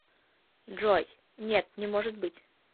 джой нет не может быть